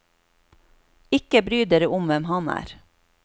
Ikke bry dere om hvem han er.